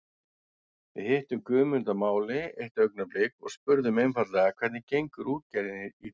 Við hittum Guðmund að máli eitt augnablik og spurðum einfaldlega hvernig gengur útgerðin í dag?